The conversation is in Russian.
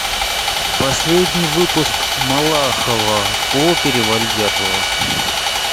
последний выпуск малахова о перевале дятлова